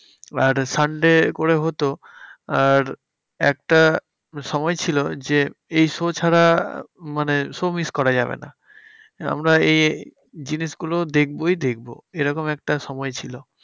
আর sunday করে হতো আর একটা সময় ছিল যে, এই show ছাড়া মানে show miss করা যাবে না। আমরা এ জিনিসগুলো দেখবোই দেখবো। এরকম একটা সময় ছিল।